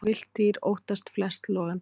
Villt dýr óttast flest logandi bál.